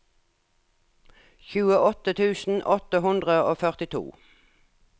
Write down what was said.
tjueåtte tusen åtte hundre og førtito